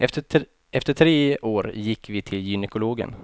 Efter tre år gick vi till gynekologen.